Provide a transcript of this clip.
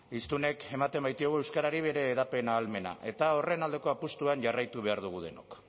hiztunek ematen baitiogu euskarari bere hedapena ahalmena eta horren aldeko apustuan jarraitu behar dugu denok